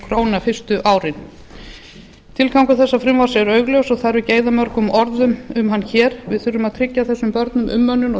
króna fyrstu árin tilgangur þessa frumvarps er augljós og þarf ekki að eyða mörgum orðum um hann hér við þurfum að tryggja þessum börnum umönnun og